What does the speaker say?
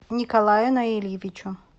николаю наильевичу